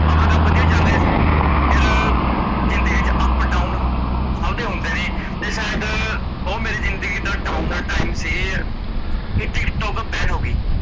ਆਪਣਾ ਕੰਮ ਵਧੀਆ ਚੱਲ ਰਿਹਾ ਸੀ ਫਿਰ ਜ਼ਿੰਦਗੀ ਚ up down ਸੱਭ ਦੇ ਆਉਂਦੇ ਨੇ ਤੇ ਸ਼ਾਇਦ ਓਹ ਮੇਰੀ ਜ਼ਿੰਦਗੀ ਦਾ down ਦਾ time ਸੀ, ਕੀ ਟੀਕਟੋਕ ban ਹੋਗੀ